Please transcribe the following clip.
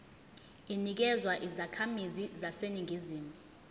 inikezwa izakhamizi zaseningizimu